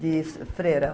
De freira.